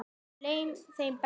Þar leið þeim best.